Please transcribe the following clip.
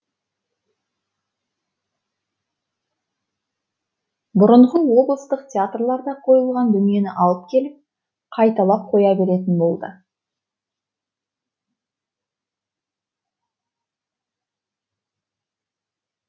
бұрынғы облыстық театрларда қойылған дүниені алып келіп қайталап қоя беретін болды